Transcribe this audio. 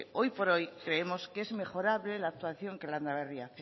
hoy por hoy creemos que es mejorable la actuación que landaberri hace